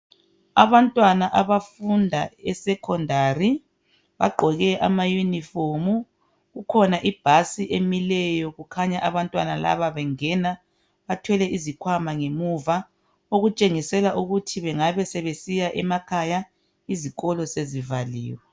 Abantwana abafunda eSecondary bagqoke ama Yunifomu, kukhona ibhasi emileyo kukhanya abantwana laba bengena bathwele izikhwama ngemuva, okutshengisela ukuthi bengabe sebesiya emakhaya isikolo sesivalile.